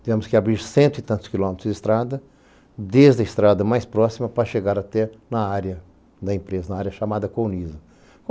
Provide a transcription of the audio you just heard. Tivemos que abrir cento e tantos quilômetros de estrada, desde a estrada mais próxima para chegar até na área da empresa, na área chamada Coloniza.